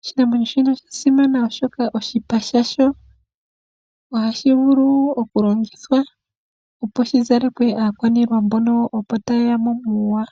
Osha simana oshoka oshipa shasho ohashi vulu okulongithwa, opo shi zalekwe aakwanilwa mbono opo tayeya mo muuwa.